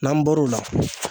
N'an bɔr'o la